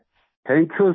मंजूर जी thank you sir